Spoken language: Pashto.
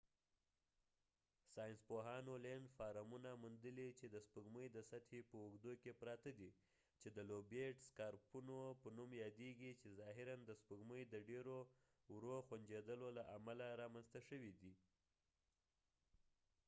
ساینس پوهانو لينډفارمونه موندلي چې د سپوږمۍ د سطحې په اوږدو کې پراته دي چې د لوبیټ سکارپونو په نوم یادیږي چې ظاهراََ د سپوږمۍ د ډير ورو غونجېدلو له امله رامنځته شوي دي